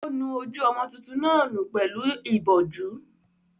Ó nu ojú ọmọ tuntun náà nù pẹ̀lú ìbọ̀jú.